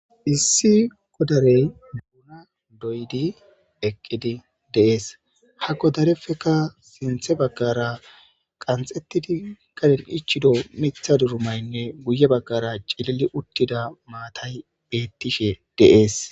issi godarey duuna doydi eqqidi de'ees hakko darefeka sinthe baggara qanxettidi kaden ichido mitha durumaynne guye baggara cilili uttida maatay beettishe de'ees